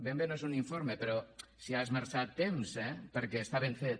ben bé no és un informe però s’hi ha esmerçat temps eh perquè està ben fet